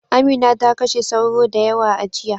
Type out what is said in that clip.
Amina ta kashe sauro da yawa a jiya.